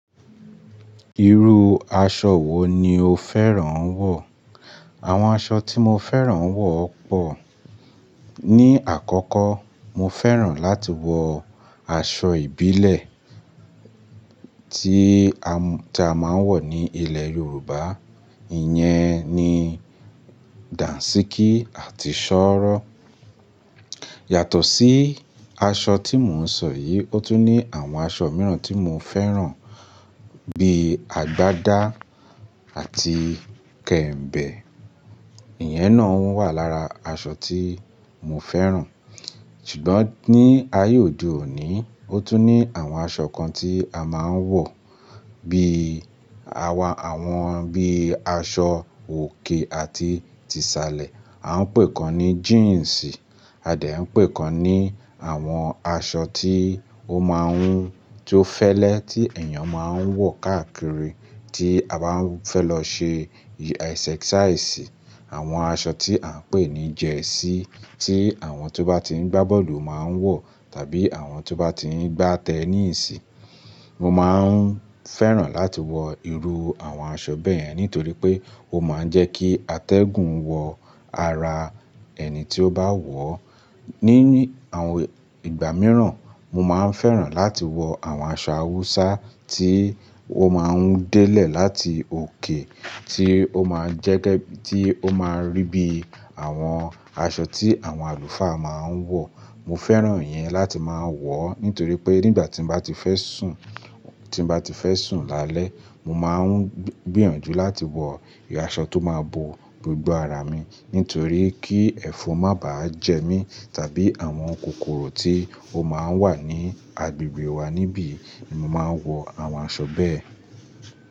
Irú aṣọ wo ni o fẹ́ràn wọ̀? Àwọn aṣọ tí mo fẹ́ràn wọ̀ pọ̀. Ni àkọ́kọ́, mo fẹ́ràn láti wọ aṣọ ìbílẹ̀ tí a máa ń wọ̀ ní ilẹ̀ Yorùbá. Iyẹn ni dàńṣíkí àti ṣọ́rọ́. Yàtọ̀ sí aṣọ tí mò ń sọ yìí, ó tún ní àwọn aṣọ mìíràn tí mo fẹ́ràn bíi àgbádá àti kẹ̀m̀bẹ̀. Iyẹn náà wà lára aṣọ tí mo fẹ́ràn. Ṣùgbọ́n ní ayé òde òní, ó tún ní àwọn aṣọ kan tí a máa ń wọ̀ bí i, àwọn bí i aṣọ òkè àti ti salẹ̀. A ń pè kan ní jíǹsì, a dẹ̀ ń pè kan ní àwọn aṣọ tí ó máa ń, tí ó fẹ́lẹ́ tí ènìyàn máa ń wọ̀ káàkiri tí a bá fẹ́ lọ ṣe exercise. Àwọn aṣọ tí à ń pè ní jersey tí àwọn tó bá tí ń gbá bọ́ọ̀lù máa ń wọ̀, tàbí àwọn tó bá tí ń gbá tennis. Mo máa ń fẹ́ràn láti wọ irú àwọn aṣọ bẹ́ẹ́ yẹn nítorí pé ó máa ń jẹ́ kí atẹ́gùn wọ ara ẹni tí ó bá wọ̀ ọ́. Ní àwọn ìgbà mìíràn, mo máa ń fẹ́ràn láti wọ àwọn aṣọ Hausa tí ó máa ń délẹ̀ láti òkè, tí ó máa ń rí bí àwọn aṣọ tí àwọn àlùfáà máa ń wọ̀. Mo fẹ́ràn iyẹn láti máa wọ̀ ó nítorí pé nígbà tí mo bá ti fẹ́ sùn, tí mo bá ti fẹ́ sùn lálẹ́, mo máa ń gbìyànjú láti wọ aṣọ tó máa bo gbogbo ara mi nítorí kí ẹ̀fọn má bá jẹ mí tàbí àwọn kòkòrò tí ó máa ń wà ní agbègbè wa níbí mo máa ń wọ àwọn aṣọ bẹ́ẹ̀.